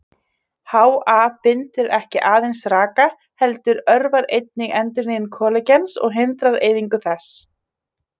HA bindur ekki aðeins raka heldur örvar einnig endurnýjun kollagens og hindrar eyðingu þess.